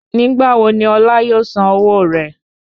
Nígbà wo ni Ọlá yóò san owó rẹ?